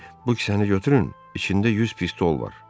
Bu kəsi götürün, içində yüz pistol var.